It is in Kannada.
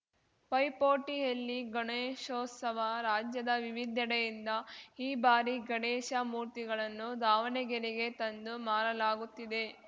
ಪೈಪೋಟಿಯಲ್ಲಿ ಗಣೇಶೋತ್ಸವ ರಾಜ್ಯದ ವಿವಿಧೆಡೆಯಿಂದ ಈ ಬಾರಿ ಗಣೇಶ ಮೂರ್ತಿಗಳನ್ನು ದಾವಣಗೆರೆಗೆ ತಂದು ಮಾರಲಾಗುತ್ತಿದೆ